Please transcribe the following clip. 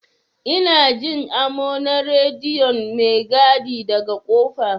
Ina Jin amo na rediyon maigadi daga kofa.